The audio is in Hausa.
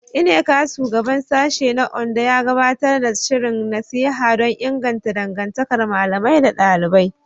Nneka, Shugaban Sashen na Ondo, ya gabatar da shirin nasiha don inganta dangantakar ɗalibai da malamai.